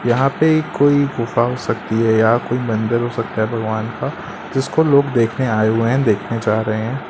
यहां पे कोई गुफा हो सकती है या कोई मंदिर हो सकता है भगवान का जिसको लोग देखने आए हुए है देखने जा रहे--